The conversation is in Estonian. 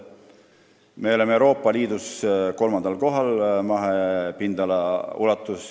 Me oleme Euroopa Liidus mahepindalalt kolmandal kohal.